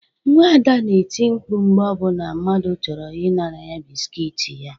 Nwa Ada na-eti mkpu mgbe ọbụla mmadụ chọrọ ị nara ya biskuit ya